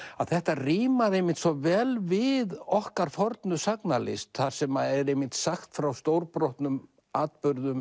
þetta rímar einmitt svo vel við okkar fornu sagnalist þar sem er einmitt sagt frá stórbrotnum atburðum